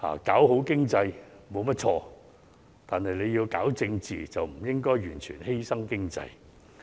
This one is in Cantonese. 搞好經濟沒有錯，但要搞政治，就不應該完全犧牲經濟。